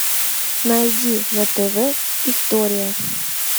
найди на тв история